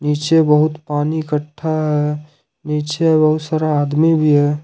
नीचे बहुत पानी इकट्ठा है नीचे बहुत सारा आदमी भी है।